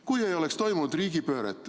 Kui ei oleks toimunud riigipööret.